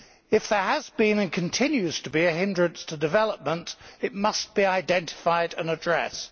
If there has been, and continues to be, a hindrance to development it must be identified and addressed.